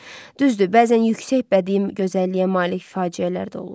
Düzdür, bəzən yüksək bədii gözəlliyə malik faciələr də olur.